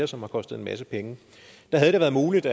som har kostet en masse penge der havde det været muligt